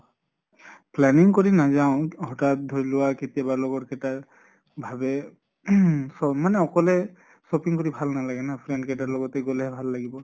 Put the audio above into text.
planning কৰি নাযাওঁ, হঠাৎ ধৰি লোৱা কেতিয়াবা লগৰ কেটাই ভাবে ing ফ মানে অকলে shopping কৰি ভাল নালাগে না। friend কেটাৰ লগতে গʼলেহে ভাল লাগিব।